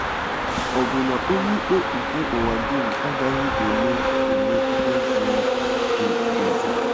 “Ọ̀ bụ na Onyeikpe nke ụwa dum agaghị eme eme ihe ziri ezi?